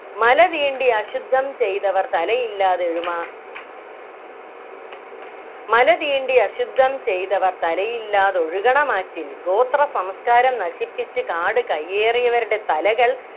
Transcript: മലതീണ്ടിയശുദ്ധം ചെയ്തവർ തലയില്ലാതെഴുമാ മലതീണ്ടിയശുദ്ധം ചെയ്തവർ തലയില്ലാതൊഴുകണമാറ്റിൽ ഗോത്ര സംസ്കാരം നശിപ്പിച്ച് കാടുകയ്യേറിയവരുടെ തലകൾ